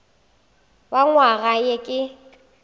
wa nywaga ye e ka